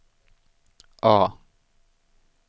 A